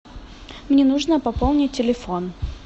мне нужно пополнить телефон